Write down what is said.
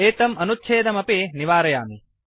एतम् अनुच्छेदमपि निवारयामि